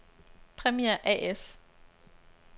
Premiair A/S